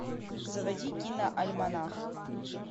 заводи киноальманах